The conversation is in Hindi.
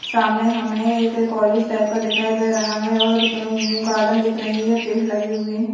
सामने हमे एक कॉलेज टाइप का दिखाई दे रहा है और गार्डन दिख रही है पेड़ लगे हुए है।